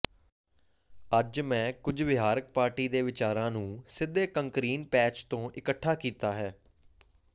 ਅੱਜ ਮੈਂ ਕੁਝ ਵਿਹਾਰਕ ਪਾਰਟੀ ਦੇ ਵਿਚਾਰਾਂ ਨੂੰ ਸਿੱਧੇ ਕੰਕਰੀਨ ਪੈਚ ਤੋਂ ਇਕੱਠਾ ਕੀਤਾ ਹੈ